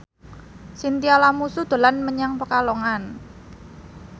Chintya Lamusu dolan menyang Pekalongan